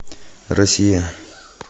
россия